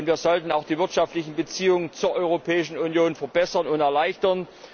Wir sollten auch die wirtschaftlichen Beziehungen zur Europäischen Union verbessern und erleichtern.